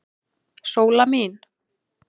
Sóla mín.